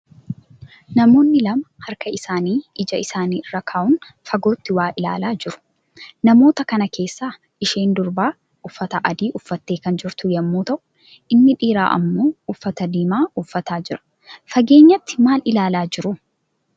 Namoonni lama harka isaanii ija isaanii irra ka'uun fagootti waa ilaalaa jiru. Namoota kana keessaa isheen durbaa uffata adii uffattee kan jirtu yemmuu ta'uu inni dhiiraa ammoo uffata diimaa uffataa jira. Fageenyatti maal ilaalaa jiru?